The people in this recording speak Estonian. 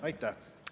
Aitäh!